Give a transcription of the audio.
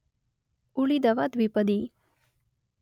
ಉಳಿದವ ದ್ವಿಪದಿ